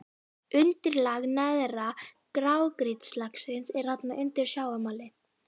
Undirlag neðra grágrýtislagsins er þarna undir sjávarmáli.